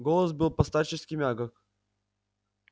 голос был по-старчески мягок